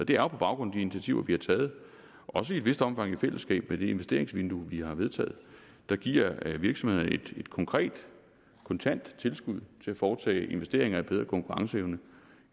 det er jo på baggrund af de initiativer vi har taget også i et vist omfang i fællesskab med det investeringsvindue vi har vedtaget der giver virksomhederne et konkret kontant tilskud til at foretage investeringer i bedre konkurrenceevne